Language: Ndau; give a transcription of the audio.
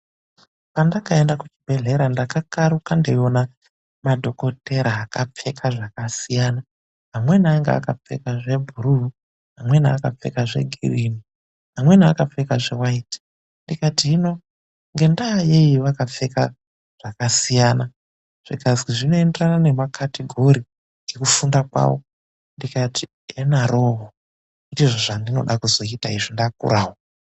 Pandakaenda kubhehlera ndakakaruka ndeiona madhokotera akapfeka zvakasiyana amweni ainga akapfeka zvebhuru , amweni akapfeka zvegirini ,amweni akapfeka zvewayiiti ,ndikati hino ngendayeni vakapfeka zvakasiyana zvikazwi zvinoenderana nemacategori nekufunda kwavo ndikati enharooo ndizvo zvavandoda kuzoita ndakurawo.